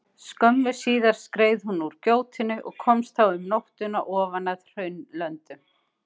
Skömmu síðar skreið hún úr gjótunni og komst þá um nóttina ofan að Hraunlöndum.